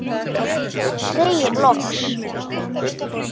Segir loks